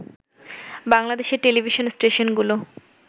বাংলাদেশের টেলিভিশন স্টেশনগুলো